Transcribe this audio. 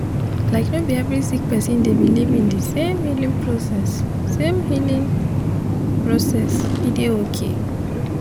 like no bi every sik person dey biliv in di sem healing process sem healing process e dey okay